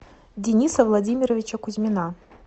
дениса владимировича кузьмина